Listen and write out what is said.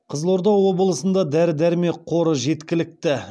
қызылорда облысында дәрі дәрмек қоры жеткілікті